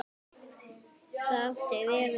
Það átti vel við mig.